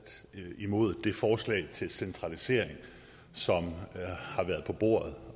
imod det forslag til centralisering som har været på bordet